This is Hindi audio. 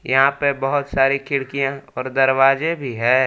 यहाँ पे बहुत सारे खिड़कियाँ और दरवाजे भी है।